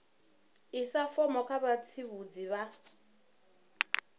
isa fomo kha vhatsivhudzi vha